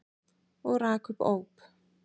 Og rak upp óp.